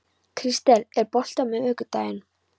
Kristel, er bolti á miðvikudaginn?